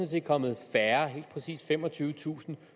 set kommet færre helt præcist femogtyvetusinde